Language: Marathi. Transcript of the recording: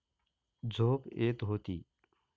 झोप येत होती.